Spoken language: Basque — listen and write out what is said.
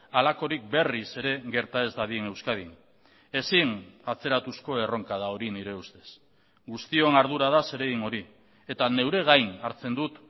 halakorik berriz ere gerta ez dadin euskadin ezin atzeratuzko erronka da hori nire ustez guztion ardura da zeregin hori eta neure gain hartzen dut